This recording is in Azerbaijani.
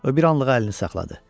O bir anlıq əlini saxladı.